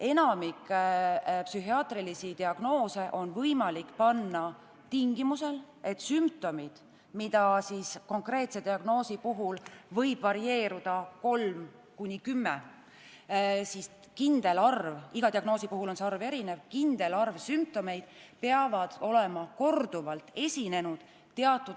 Enamik psühhiaatrilisi diagnoose on võimalik panna tingimusel, et kindel arv sümptomeid – neid võib olenevalt diagnoosist olla 3–10, iga diagnoosi puhul on see arv erinev – on teatud aja jooksul korduvalt esinenud.